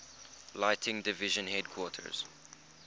lighting division headquarters